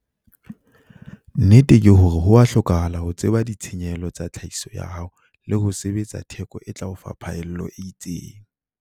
Nnete ke hore ho a hlokahala ho tseba ditshenyehelo tsa tlhahiso ya hao le ho sebetsa theko e tla o fa phaello e itseng.